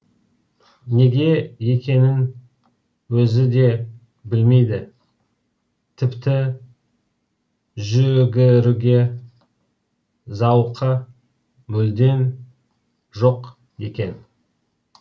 неге екенін өзі де білмейді тіпті жүгіруге зауқы мүлдем жоқ екен